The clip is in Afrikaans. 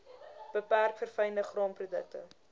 beperk verfynde graanprodukte